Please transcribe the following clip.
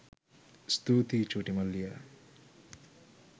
ස්තුතියි චුටි මල්ලියා